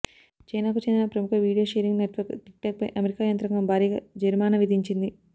చైనాకు చెందిన ప్రముఖ వీడియో షేరింగ్ నెట్వర్క్ టిక్టాక్ పై అమెరికా యంత్రాంగం భారీగా జరిమానా విధించింది